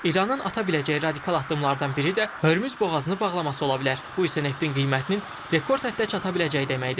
İranın ata biləcəyi radikal addımlardan biri də Hürmüz boğazını bağlaması ola bilər, bu isə neftin qiymətinin rekord həddə çata biləcəyi deməkdir.